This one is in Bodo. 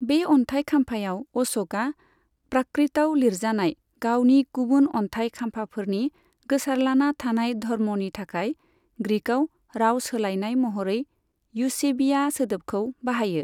बे अन्थाइ खाम्फायाव, अश'कआ प्राकृताव लिरजानाय गावनि गुबुन अन्थाइ खाम्फाफोरनि गोसारलाना थानाय 'धर्म' नि थाखाय ग्रीकाव राव सोलायनाय महरै युसेबीया सोदोबखौ बाहायो।